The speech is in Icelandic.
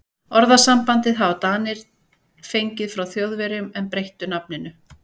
Orðasambandið hafa Danir fengið frá Þjóðverjum en breytt nafninu.